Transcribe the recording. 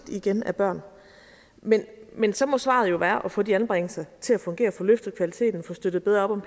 af børn men men så må svaret jo være at få de anbringelser til at fungere få løftet kvaliteten og få støttet bedre op om